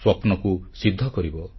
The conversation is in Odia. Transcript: ସ୍ୱପ୍ନକୁ ସିଦ୍ଧି କରିବ